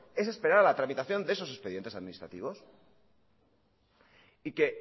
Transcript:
es esperar a la tramitación de esos expedientes administrativos y que